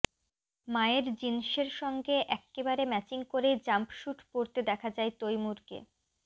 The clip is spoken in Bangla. মায়ের জিন্সের সঙ্গে এক্কেবারে ম্যাচিং করেই জাম্পশুট পরতে দেখা যায় তৈমুরকে